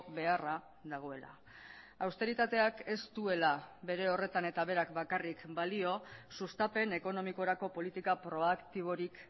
beharra dagoela austeritateak ez duela bere horretan eta berak bakarrik balio sustapen ekonomikorako politika proaktiborik